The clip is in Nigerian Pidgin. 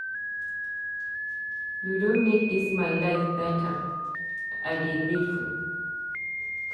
You don make dis my life beta, I dey grateful.